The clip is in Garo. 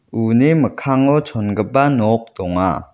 uni mikkango chongipa nok donga.